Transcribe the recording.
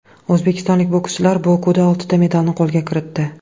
O‘zbekistonlik bokschilar Bokuda oltita medalni qo‘lga kiritdi.